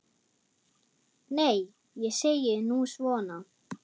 Nei, ég segi nú svona.